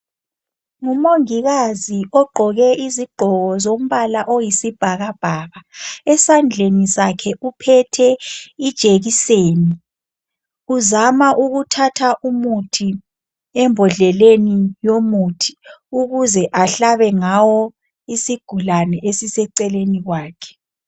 Umongikazi ogqoke izigqoko zombala oyisibhakabhaka esandleni sakhe uphethe ijekiseni uzama ukuthatha umuthi embodleleni yomuthi, ukuze ahlabe ngawo isigulane esiseceleni kwakhe.